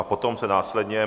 A potom se následně...